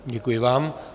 Děkuji vám.